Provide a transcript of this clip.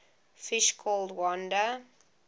fish called wanda